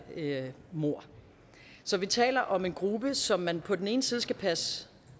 mord så vi taler om en gruppe som man på den ene side skal passe